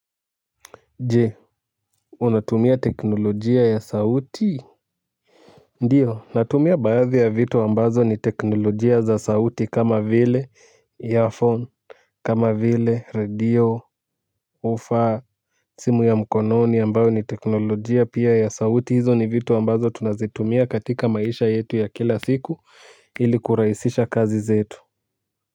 Je, unatumia teknolojia ya sauti? Ndio, natumia baadhi ya vitu ambazo ni teknolojia za sauti kama vile 'earphone', kama vile radio, 'whoofer', simu ya mkononi ambayo ni teknolojia pia ya sauti. Hizo ni vitu ambazo tunazitumia katika maisha yetu ya kila siku, ili kurahisisha kazi zetu.